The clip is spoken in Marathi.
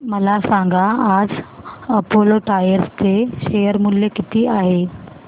मला सांगा आज अपोलो टायर्स चे शेअर मूल्य किती आहे